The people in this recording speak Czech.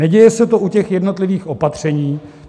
Neděje se to u těch jednotlivých opatření.